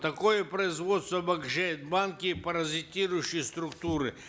такое производство обогащает банки и паразитирующие структуры